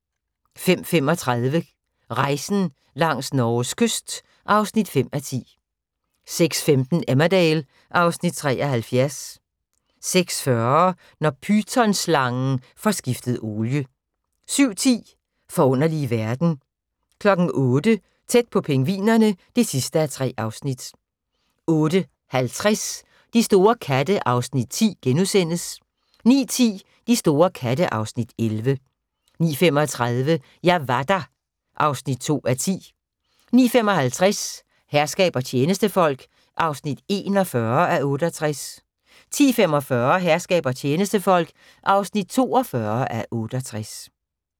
05:35: Rejsen langs Norges kyst (5:10) 06:15: Emmerdale (Afs. 73) 06:40: Når pythonslangen får skiftet olie 07:10: Forunderlige verden 08:00: Tæt på pingvinerne (3:3) 08:50: De store katte (Afs. 10)* 09:10: De store katte (Afs. 11) 09:35: Jeg var der (2:10) 09:55: Herskab og tjenestefolk (41:68) 10:45: Herskab og tjenestefolk (42:68)